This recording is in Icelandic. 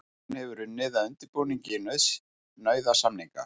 Hún hefur unnið að undirbúningi nauðasamninga